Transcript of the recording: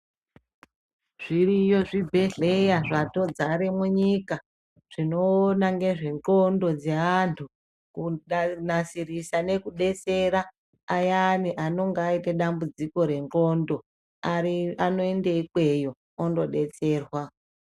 Zviriyo zvibhedhlera zvatodzare munyika zvinokona nezve ndxondo dzevantu ,kunasirisa nekudetsera ayani anonga aita dambudziko rendxondo Ari anoende ikweyo ondodetserwa.